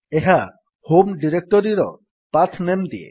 ଏହା ହୋମ୍ ଡିରେକ୍ଟୋରୀର path name ଦିଏ